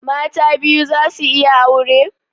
Mata biyu za su iya aure?